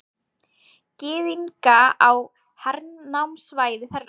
Gyðinga á hernámssvæði þeirra.